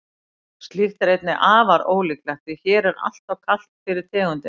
slíkt er einnig afar ólíklegt því hér er alltof kalt fyrir tegundina